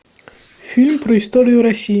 фильм про историю россии